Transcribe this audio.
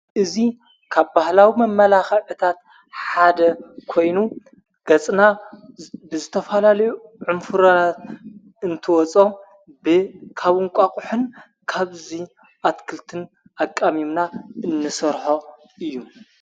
እዙይ ካብ ባህላዊ መመላኻዕታት ሓደ ኮይኑ ገጽና ብዘተፋላልዩ ዕምፉረናት እንትወጾ ብ ካብንቋቁሕን ካብዙይ ኣትክልትን ኣቃሚምና እንሠርሖ እዩ::